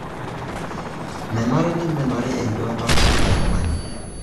Menare nemenarii enduata elikai tung'ani